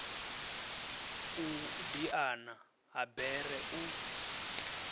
u diana ha bere u